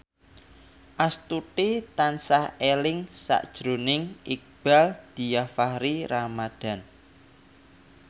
Astuti tansah eling sakjroning Iqbaal Dhiafakhri Ramadhan